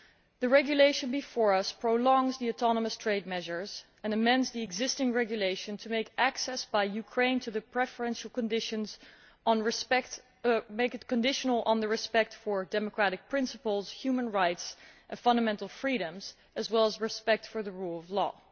The regulation before us prolongs the autonomous trade measures and amends the existing regulation to make access by Ukraine to the preferential conditions conditional upon respect for democratic principles, human rights and fundamental freedoms, as well as respect for the rule of law.